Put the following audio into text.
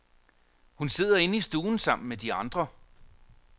Hun sidder inde i stuen sammen med de andre.